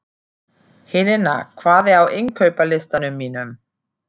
Helena, hvað er á innkaupalistanum mínum?